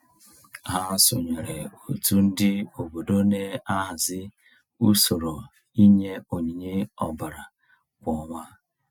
Ha sonyeere òtù ndị obodo na-ahazị usoro inye onyinye ọbara kwa ọnwa.